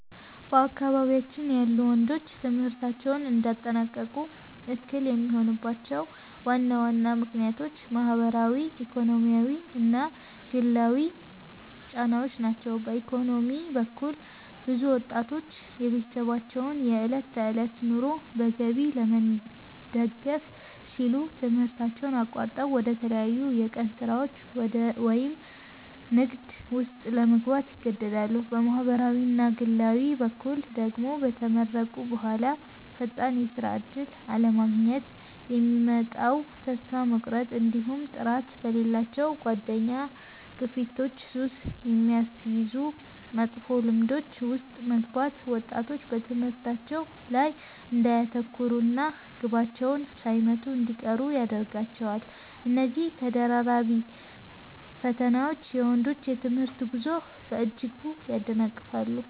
በአካባቢያችን ያሉ ወንዶች ትምህርታቸውን እንዳያጠናቅቁ እክል የሚሆኑባቸው ዋና ዋና ምክንያቶች ማኅበራዊ፣ ኢኮኖሚያዊና ግላዊ ጫናዎች ናቸው። በኢኮኖሚ በኩል፣ ብዙ ወጣቶች የቤተሰባቸውን የዕለት ተዕለት ኑሮ በገቢ ለመደገፍ ሲሉ ትምህርታቸውን አቋርጠው ወደ ተለያዩ የቀን ሥራዎች ወይም ንግድ ውስጥ ለመግባት ይገደዳሉ። በማኅበራዊና ግላዊ በኩል ደግሞ፣ ከተመረቁ በኋላ ፈጣን የሥራ ዕድል አለማግኘት የሚያመጣው ተስፋ መቁረጥ፣ እንዲሁም ጥራት በሌላቸው የጓደኛ ግፊቶችና ሱስ በሚያስይዙ መጥፎ ልማዶች ውስጥ መግባት ወጣቶች በትምህርታቸው ላይ እንዳያተኩሩና ግባቸውን ሳይመቱ እንዲቀሩ ያደርጋቸዋል። እነዚህ ተደራራቢ ፈተናዎች የወንዶችን የትምህርት ጉዞ በእጅጉ ያደናቅፋሉ።